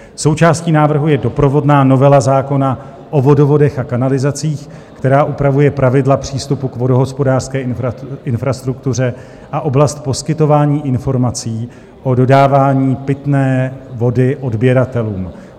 Součástí návrhu je doprovodná novela zákona o vodovodech a kanalizacích, která upravuje pravidla přístupu k vodohospodářské infrastruktuře a oblast poskytování informací o dodávání pitné vody odběratelům.